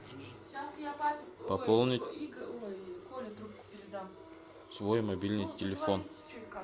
пополнить свой мобильный телефон